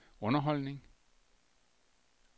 underholdning